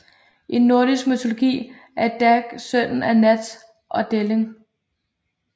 I nordisk mytologi er Dag søn af Nat og Delling